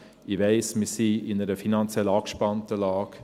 Ich weiss, wir sind in einer finanziell angespannten Lage.